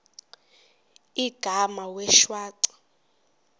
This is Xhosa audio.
igama wee shwaca